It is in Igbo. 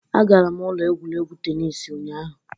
Agara m ụlọ egwuregwu tennis ụnyahụ.